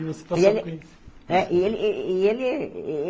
E você passou por E ele Isso? Eh e ele e e ele e e